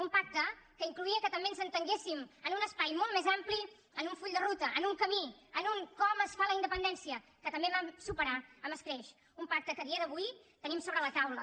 un pacte que incloïa que també ens entenguéssim en un espai molt més ampli en un full de ruta en un camí en un com es fa la independència que també vam superar amb escreix un pacte que a dia d’avui tenim sobre la taula